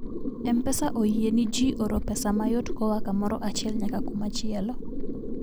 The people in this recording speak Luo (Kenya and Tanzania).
mpesa oyieni ji oro pesa mayot koa kamoro achiel nyaka kumachielo